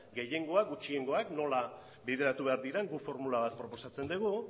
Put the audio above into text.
gehiengoak gutxiengoak nola bideratu behar diren guk formula bat proposatzen dugu